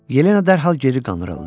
Yelena dərhal geri qandırıldı.